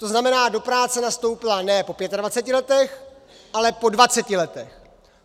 To znamená, do práce nastoupila ne po 25 letech, ale po 20 letech.